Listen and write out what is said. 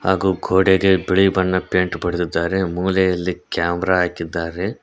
ಹಾಗೂ ಗೋಡೆಗೆ ಬಿಳಿ ಬಣ್ಣದ ಪೇಂಟ್ ಬಡೆದಿದ್ದಾರೆ ಮೂಲೆಯಲ್ಲಿ ಕ್ಯಾಮೆರಾ ಹಾಕಿದ್ದಾರೆ.